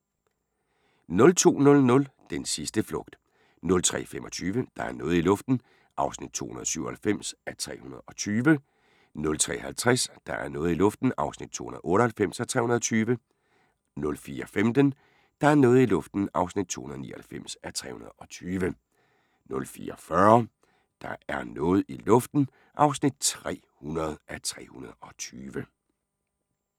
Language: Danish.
02:00: Den sidste flugt 03:25: Der er noget i luften (297:320) 03:50: Der er noget i luften (298:320) 04:15: Der er noget i luften (299:320) 04:40: Der er noget i luften (300:320)